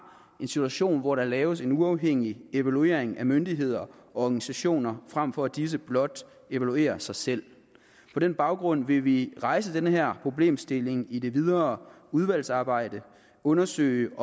institution hvor der laves en uafhængig evaluering af myndigheder og organisationer frem for at disse blot evaluerer sig selv på den baggrund vil vi rejse den her problemstilling i det videre udvalgsarbejde og undersøge